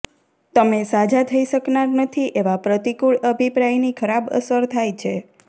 તમે સાજા થઈ શકનાર નથી એવા પ્રતિકૂળ અભિપ્રાયની ખરાબ અસર થાય છે